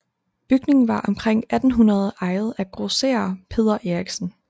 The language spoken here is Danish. Bygningen var omkring 1800 ejet af grosserer Peder Erichsen